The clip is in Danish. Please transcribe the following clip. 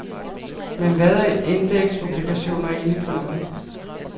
Men hvad er indeksobligationer egentlig for noget?